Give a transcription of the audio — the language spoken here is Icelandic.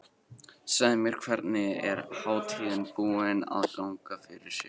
Segðu mér, hvernig er hátíðin búin að ganga fyrir sig?